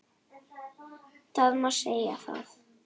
Það má segja það.